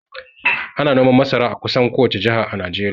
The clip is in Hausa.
Ana noman masara a kusan kowace jaha a Najeriya